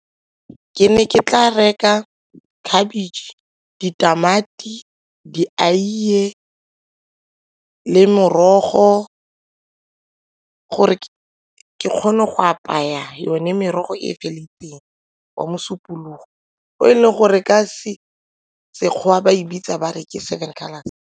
Ke ne ke tla reka cabbage, ditamati le morogo gore ke kgone go apaya yone merogo e fela diteng wa mosupologo o e leng gore ka Sekgowa ba e bitsa ba re ke seven colours.